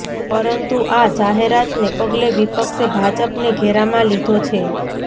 પરંતુ આ જાહેરાતને પગલે વિપક્ષે ભાજપને ઘેરામાં લીધો છે